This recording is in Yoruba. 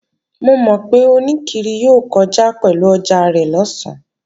Mo mọ̀ pé oníkiri yóò kọjá pẹ̀lú ọjà rẹ̀ lọ̀sán